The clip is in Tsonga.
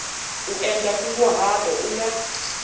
u endla nkunguhato u nga